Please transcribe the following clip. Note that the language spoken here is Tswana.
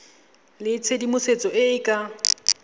le tshedimosetso e e ka